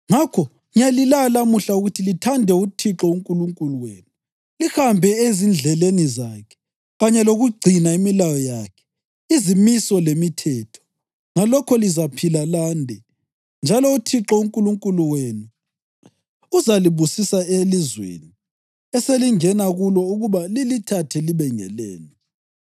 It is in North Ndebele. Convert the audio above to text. Ngakho ngiyalilaya lamuhla ukuthi lithande uThixo uNkulunkulu wenu, lihambe ezindleleni zakhe, kanye lokugcina imilayo yakhe, izimiso lemithetho; ngalokho lizaphila lande, njalo uThixo uNkulunkulu wenu uzalibusisa elizweni eselingena kulo ukuba lilithathe libe ngelenu.